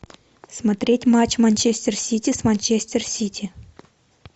смотреть матч манчестер сити с манчестер сити